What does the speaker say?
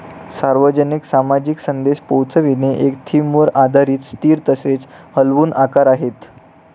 सार्वजनिक सामाजिक संदेश पोहोचविणे एक थीमवर आधारित स्थिर तसेच हलवून आकार आहेत